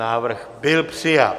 Návrh byl přijat.